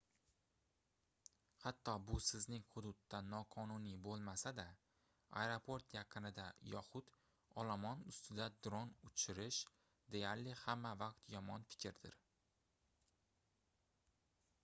hatto bu sizning hududda noqonuniy boʻlmasa-da aeroport yaqinida yoxud olomon ustida dron uchirish deyarli hamma vaqt yomon fikrdir